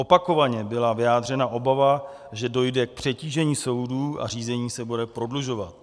Opakovaně byla vyjádřena obava, že dojde k přetížení soudů a řízení se bude prodlužovat.